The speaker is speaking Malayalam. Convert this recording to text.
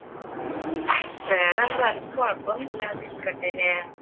വേറെന്താണ്? കുഴപ്പമൊന്നും ഇല്ലാതിരിക്കട്ടെ അല്ലെ